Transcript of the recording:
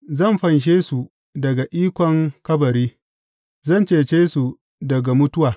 Zan fanshe su daga ikon kabari; zan cece su daga mutuwa.